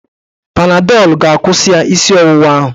Panadọl ga-akwụsị ya isi ọwụwa ahụ.